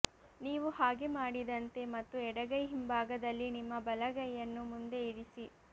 ನೀವು ಹಾಗೆ ಮಾಡಿದಂತೆ ಮತ್ತು ಎಡಗೈ ಹಿಂಭಾಗದಲ್ಲಿ ನಿಮ್ಮ ಬಲಗೈಯನ್ನು ಮುಂದೆ ಇರಿಸಿ